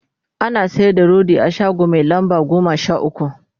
ana sayar da rodi a shago Mai lamba goma Sha ukwu